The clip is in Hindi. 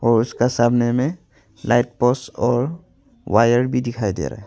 और उसका सामने में लाइट पोल्स और वायर भी दिखाई दे रहा है।